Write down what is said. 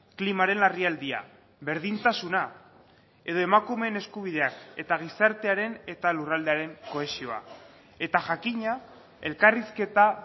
klimaren larrialdia berdintasuna edo emakumeen eskubideak eta gizartearen eta lurraldearen kohesioa eta jakina elkarrizketa